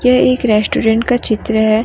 ये एक रेस्टोरेंट का चित्र है।